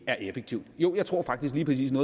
er effektivt jo jeg tror faktisk lige